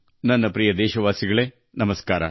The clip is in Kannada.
ನನ್ನ ಪ್ರೀತಿಯ ದೇಶವಾಸಿಗಳೆ ನಮಸ್ಕಾರ